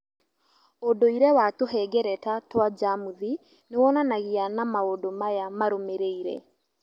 ũndũire wa tũhengereta twa njamuthi niwonanagia na maũndũ maya marũmĩrĩire